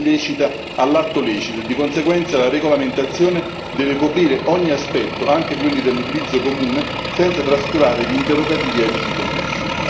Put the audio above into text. pratica illecita, all'atto lecito e di conseguenza la regolamentazione deve coprire ogni aspetto, anche quelli dell'utilizzo comune, senza trascurare gli interrogativi etici connessi.